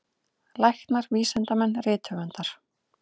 Læknar, vísindamenn, rithöfundar.